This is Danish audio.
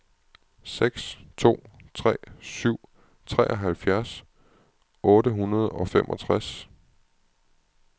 seks to tre syv treoghalvfjerds otte hundrede og femogtres